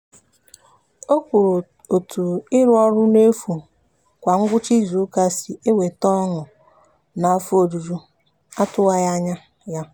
o kwuru etu ịrụ ọrụ n'efu kwa ngwụcha izuụka si eweta ọṅụ naa afọ ojuju atụwaghị anya ya.